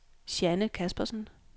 Jeanne Caspersen